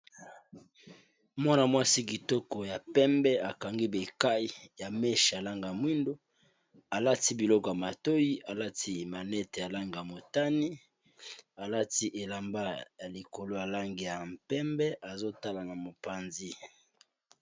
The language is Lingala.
Mwana mwansi Kitoko ya pembe akangi berkayi ya meshes ya Langi ya muhindo Alati biliko ya matiti Alati biliko maneti ya Langi ya motane Alati pee biliko ya pembe atali na mopanzi